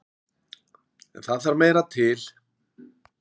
En það þarf meira til.